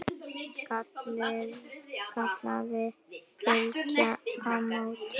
kallaði Bylgja á móti.